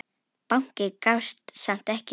Bankinn gafst samt ekki upp.